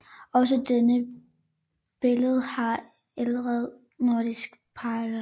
Også denne billede har ældre nordiske paralleller